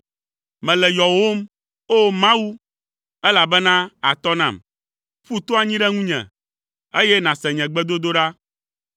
Mele yɔwòm, O! Mawu, elabena àtɔ nam; ƒu to anyi ɖe ŋunye, eye nàse nye gbedodoɖa.